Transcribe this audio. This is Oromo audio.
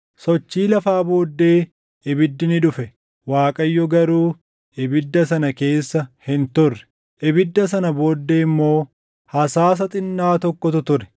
Sochii lafaa booddee ibiddi ni dhufe; Waaqayyo garuu ibidda sana keessa hin turre. Ibidda sana booddee immoo hasaasa xinnaa tokkotu ture.